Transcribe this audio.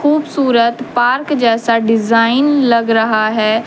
खूबसूरत पार्क जैसा डिजाइन लग रहा है।